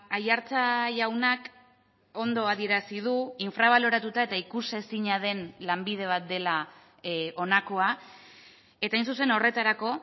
aiartza jaunak ondo adierazi du infrabaloratuta eta ikusezina den lanbide bat dela honakoa eta hain zuzen horretarako